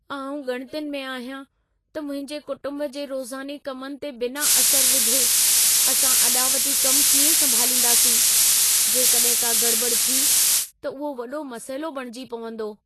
आउं ॻणितियुनि में आहियां त मुंहिंजे कुटुंब जे रोज़ाने कमनि ते बिना असर विधे, असां अॾावती कमु कीअं संभालींदासीं। जेकॾहिं का गड़िॿड़ि थी, त उहो वॾो मसइलो बणिजी पवंदो।